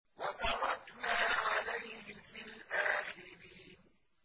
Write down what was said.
وَتَرَكْنَا عَلَيْهِ فِي الْآخِرِينَ